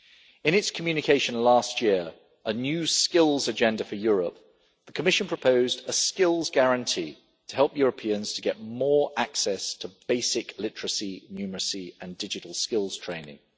In its communication last year A new skills agenda for Europe', the Commission proposed a skills guarantee to help Europeans to get more access to basic literacy, numeracy and digital skills training.